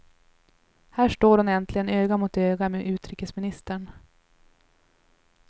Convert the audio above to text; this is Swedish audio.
Här står hon äntligen öga mot öga med utrikesministern.